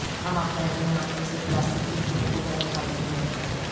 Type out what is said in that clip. ہم اپنے اپنے ہاتھوں سے پلاسٹک کھڑکیوں کو گرم کرتے ہیں